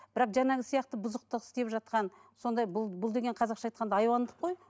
бірақ жаңағы сияқты бұзықтық істеп жатқан сондай бұл бұл деген қазақша айтқанда айуандық қой